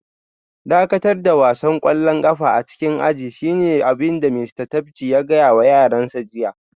Dakatar da wasan kwallon kafa a cikin ajin shine abin da Mista Tapji ya gaya wa yaransa jiya